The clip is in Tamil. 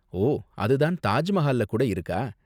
ஓ, அது தான் தாஜ் மஹால்ல கூட இருக்கா?